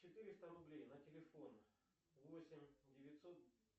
четыреста рублей на телефон восемь девятьсот